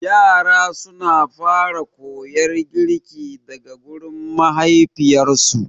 Yara suna fara koyar girki daga gurin mahaifiyarsu.